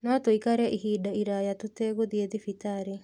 No tũikare ihinda iraya tũtegũthiĩ thibitarĩ